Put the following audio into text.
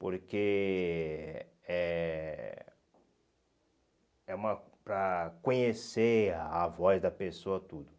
Porque... É é uma... Para conhecer a voz da pessoa, tudo.